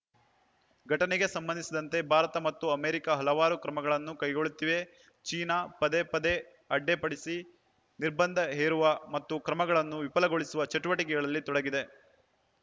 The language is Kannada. ಘಟನೆಗೆ ಸಂಬಂಧಿಸಿದಂತೆ ಭಾರತ ಮತ್ತು ಅಮೆರಿಕ ಹಲವಾರು ಕ್ರಮಗಳನ್ನು ಕೈಗೊಳ್ಳುತ್ತಿವೆ ಚೀನಾ ಪದೇ ಪದೇ ಅಡ್ಡೆ ಪಡಿಸಿ ನಿರ್ಬಂಧ ಹೇರುವ ಮತ್ತು ಕ್ರಮಗಳನ್ನು ವಿಫಲಗೊಳಿಸುವ ಚಟುವಟಿಕೆಗಳಲ್ಲಿ ತೊಡಗಿದೆ